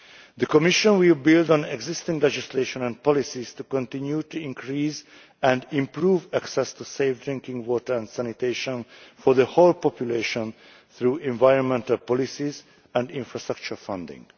The Commission will build on existing legislation and policies to continue to increase and improve access to safe drinking water and sanitation for the whole population through environmental policies and infrastructure funding.